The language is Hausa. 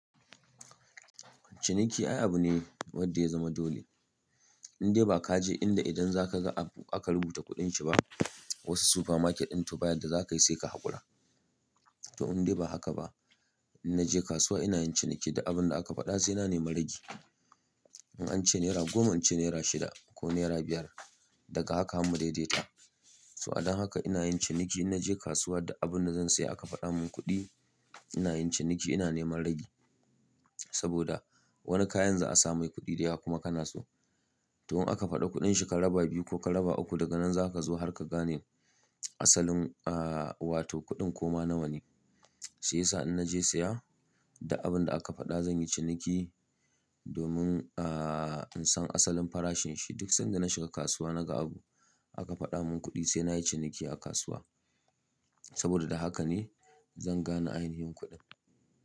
Ciniki ai abune ne wanda ya zama dole. Indai ba ka je inda idan zaka ga abu aka rubuta kuɗin shi ba, wasu supermarket ɗin to baya da za ka yi sai ka haƙura. To indai ba haka ba. In naje kasuwa ina yin ciniki da abin da aka faɗa sai na neman ragi. In an ce naira goma, an ce naira shida ko naira biyar, daga haka mu daidaita. To a dan haka ina yin ciniki, in naje kasuwa da abin da zan saya aka faɗa min kuɗi, ina yin ciniki ina neman ragi. Saboda wani kayan za a sa mai kuɗi da yawa kuma kana so. To in aka faɗa kuɗin shi kalaba biyu ko kalaba uku daga nan za ka zo har ka gane asalinta, wato kuɗin koma nawa ne. Sai sa'ad da naje saya da abin da aka faɗa zan yi ciniki domin in san asalin farashin shi. Duk sanda na shiga kasuwa naga abu aka faɗa min kuɗi sai na yi ciniki a kasuwa. Saboda da haka ne zan gane ainihin kuɗin.